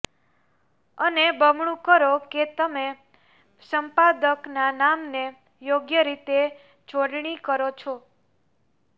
અને બમણું કરો કે તમે સંપાદકના નામને યોગ્ય રીતે જોડણી કરો છો